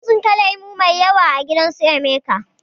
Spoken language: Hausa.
Mun tsinka lemo mai yawa a gidan su emeka